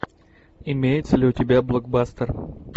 имеется ли у тебя блокбастер